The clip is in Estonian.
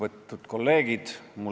Ise nad seda selgitada ei oska.